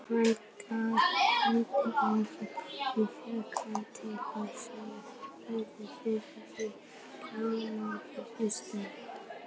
Hann gaf henni áfengi og fékk hana til að sitja fáklædda fyrir í klámfengnum stellingum.